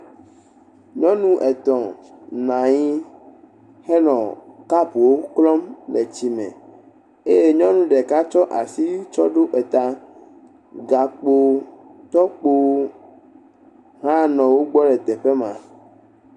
Nyɔnu etɔ̃ nɔ anyi henɔ kapuwo klɔm le tsi me eye nyɔnu ɖeka tsɔ asi ɖo eta, gakpo tokpowo hã le wogbɔ le teƒe ma.